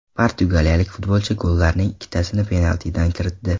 Portugaliyalik futbolchi gollarining ikkitasini penaltidan kiritdi.